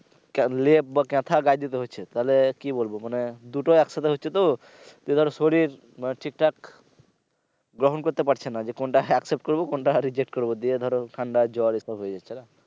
লেপ বা কাথা গায়ে দিতে হচ্ছে তাহলে কি বলব মানে দুটো একসাথে হচ্ছে তো যার শরীর মানে ঠিকঠাক গ্রহন করতে পারছে না যে কোনটা accept করব, কোনটা reject করব দিয়ে ধরো ঠান্ডা জ্বর এটা হয়ে যাচ্ছে।